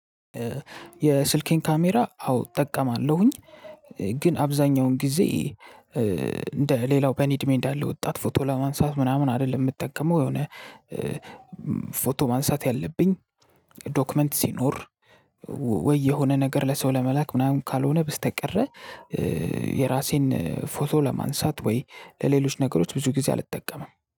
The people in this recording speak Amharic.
የስልኬን ካሜራ አው እጠቀማለሁኝ። ግን አብዛኛውን ጊዜ እ እንደ ሌላው በኔ እድሜ እንዳለ ወጣት ፎቶ ለማንሳት ምናምን አይደለም የምጠቀመው የሆነ እ ፎቶ ማንሳት ያለብኝ ዶክመንት ሲኖር። ወይ የሆነ ነገር ለሰው ለመላክ ምናምን ካልሆነ በስተቀረ እ የራሴን ፎቶ ለማንሳት ወይ ለሌሎች ነገሮች ብዙ ጊዜ አልጠቀምም